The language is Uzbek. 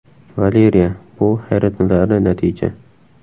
Valeriya : Bu hayratlanarli natija!